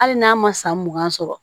Hali n'a ma san mugan sɔrɔ